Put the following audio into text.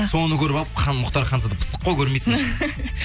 соны көріп алып мұхтар ханзада пысық қой көрмейсің ба